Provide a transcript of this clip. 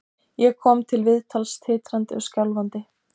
Ég kom til viðtals titrandi og skjálfandi.